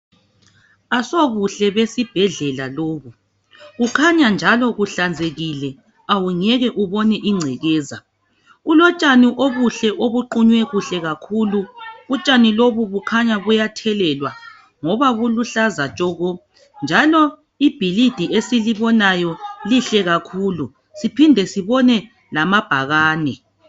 Asobuhle besibhedlela lobu kukhanya njalo kuhlanzekile awungeke ubone ingcekeza kulotshani obuhle obuqunywe kuhle utshani lobu bukhanya buyathelelwa ngoba lubuhlaza tshoko njalo ibhilidi esilibonayo lihle kakhulu siphinde sibone lamabhakane.